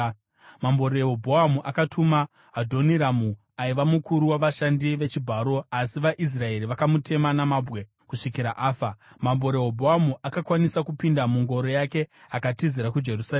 Mambo Rehobhoamu akatuma Adhoniramu, aiva mukuru wavashandi vechibharo, asi vaIsraeri vakamutema namabwe kusvikira afa. Mambo Rehobhoamu akakwanisa kupinda mungoro yake akatizira kuJerusarema.